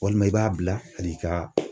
Walima i b'a bila hali i ka